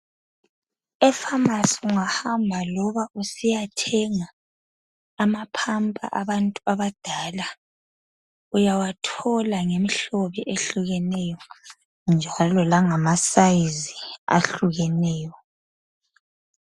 E"pharmacy"ungahamba loba usiya thenga amaphampa abantu abadala uyawathola ngemihlobo ehlukeneyo njalo langama sayizi ahlukeneyo.